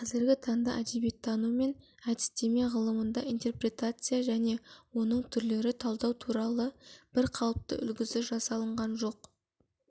қазіргі таңда әдебиеттану мен әдістеме ғылымында интерпретация және оның түрлері талдау туралы бір қалыпты үлгісі жасалынған жоқ